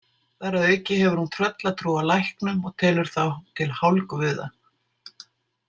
Þar að auki hefur hún tröllatrú á læknum og telur þá til hálfguða.